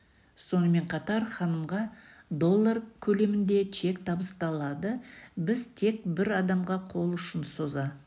сонымен қатар ханымға доллар көлемінде чек табысталады біз тек бір адамға қол ұшын соза